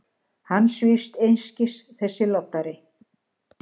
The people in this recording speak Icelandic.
Hann svífst einskis, þessi loddari!